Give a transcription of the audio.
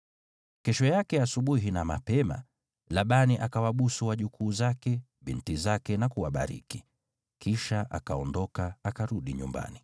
Kesho yake asubuhi na mapema, Labani akawabusu wajukuu zake, binti zake na kuwabariki. Kisha akaondoka, akarudi nyumbani.